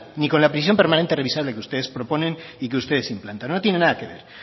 ni con la prisión permanente revisable que ustedes proponen y que ustedes implantaron no tiene nada que ver